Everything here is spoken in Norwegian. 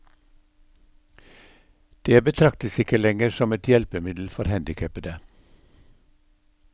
Det betraktes ikke lenger et hjelpemiddel for handikapede.